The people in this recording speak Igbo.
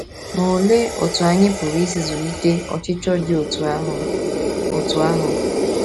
Ma olee otú anyị pụrụ isi zụlite ọchịchọ dị otú ahụ? otú ahụ?